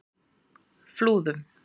Flúðum